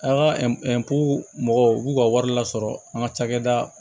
A ka mɔgɔw b'u ka wari lasɔrɔ an ka cakɛda